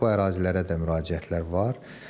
Bu ərazilərə də müraciətlər var.